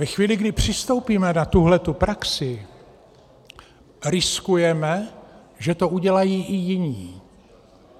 Ve chvíli, kdy přistoupíme na tuhle praxi, riskujeme, že to udělají i jiní.